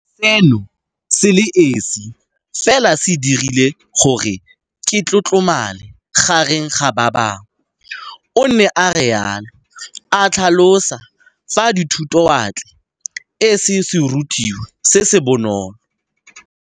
Seno se le esi fela se dirile gore ke tlotlomale gareng ga ba bangwe, o ne a rialo, a tlhalosa fa dithutowatle e se serutwa se se bonolo.